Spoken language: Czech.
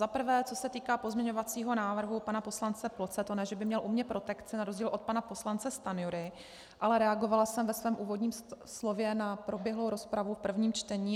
Za prvé co se týká pozměňovacího návrhu pana poslance Ploce, to ne že by měl u mě protekci na rozdíl od pana poslance Stanjury, ale reagovala jsem ve svém úvodním slově na proběhlou rozpravu v prvním čtení.